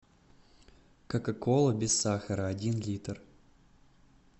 кока кола без сахара один литр